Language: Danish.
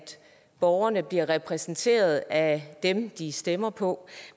borgerne bliver repræsenteret af dem de stemmer på